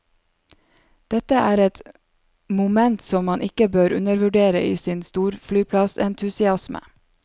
Dette er et moment som man ikke bør undervurdere i sin storflyplassentusiasme.